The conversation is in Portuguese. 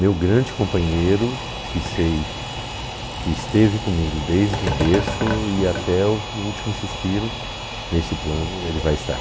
Meu grande companheiro, que sei que esteve comigo desde o berço e até o último suspiro, neste plano ele vai estar.